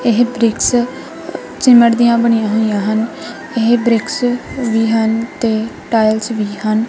ਇਹ bricks cement ਦੀਆ ਬਣੀਆਂ ਹੋਈਆ ਹਨ ਇਹ ਬ੍ਰਿਕਸ ਵੀ ਹਨ ਤੇ ਟਾਇਲਸ ਵੀ ਹਨ।